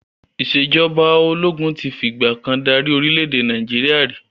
Ìsèjọba ológun tí fi ìgbàkan dárí orìlẹ̀ èdè Naijiria ri